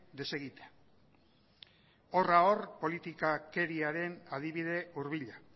desegitea horra or politikakeriaren adibide hurbila